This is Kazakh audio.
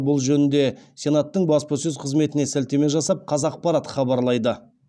бұл жөнінде сенаттың баспасөз қызметіне сілтеме жасап қазақпарат хабарлайды